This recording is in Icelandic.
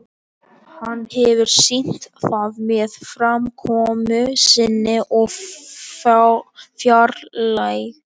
Hann hefur sýnt það með framkomu sinni og fjarlægð.